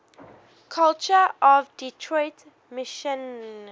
culture of detroit michigan